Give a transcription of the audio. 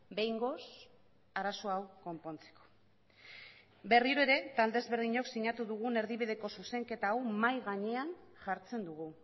behingoz arazo hau konpontzeko berriro ere talde ezberdinok sinatu dugun erdibideko zuzenketa hau mahai gainean jartzen dugu